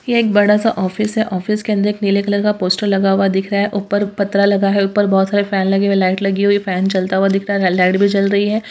यह एक बड़ा सा ऑफिस है। ऑफिस के अंदर एक नीले कलर का पोस्टर लगा हुआ दिख रहा है। ऊपर पत्रा लगा है। ऊपर बहुत सारे फैन लगे हुए हैं लाइट लगी हुई है। फैन चलता हुआ दिख रहा है लाइट भी जल रही है।